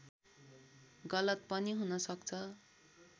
गलत पनि हुन सक्छ